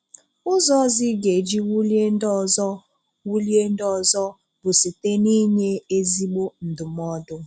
Ụ́zọ̀ ọ̀zọ́ ị gá- èjí wulie ndị ọ̀zọ́ wulie ndị ọ̀zọ́ bụ site n'ínyē ezígbó ndụmọdụ